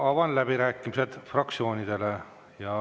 Avan läbirääkimised fraktsioonidele.